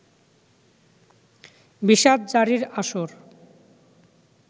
‘বিষাদ-জারি’র আসর